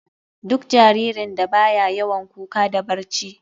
Duk jaririn da baya yawan kuka da barci.